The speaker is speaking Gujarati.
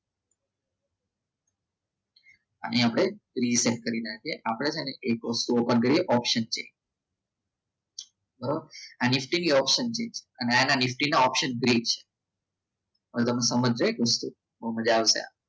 અને અહીંયા આપણે reset કરી નાખીએ આપણે છે અને એક વસ્તુ open કરીઓપ્શન થી બરાબર આ નિફ્ટીની ઓપ્શનથી અને આના ની option brack હવે તમને સમસ્યા એક વસ્તુ બહુ મજા આવશે